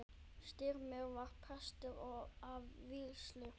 Styrmir var prestur að vígslu.